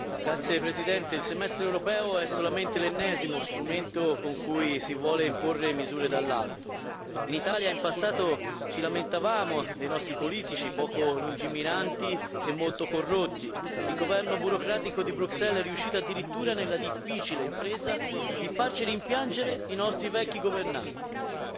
Signor Presidente, onorevoli colleghi, il Semestre europeo è solamente l'ennesimo strumento con cui si vogliono imporre misure dall'alto. In Italia, in passato, ci lamentavamo dei nostri politici, poco lungimiranti e molto corrotti. Il governo burocratico di Bruxelles è riuscito addirittura nella difficile impresa di farci rimpiangere i nostri vecchi governanti.